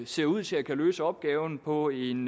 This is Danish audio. ser ud til at kunne løse opgaven på en